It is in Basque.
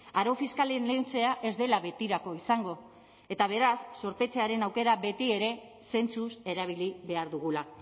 arau fiskalen lehentzea ez dela betirako izango eta beraz zorpetzearen aukera betiere zentzuz erabili behar dugula